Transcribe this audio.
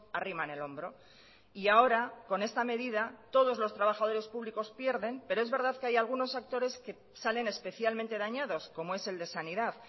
arriman el hombro y ahora con esta medida todos los trabajadores públicos pierden pero es verdad que hay algunos actores que salen especialmente dañados como es el de sanidad